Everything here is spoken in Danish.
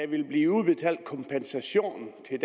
vil blive udbetalt kompensation til